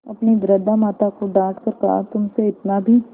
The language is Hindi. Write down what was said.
अपनी वृद्धा माता को डॉँट कर कहातुमसे इतना भी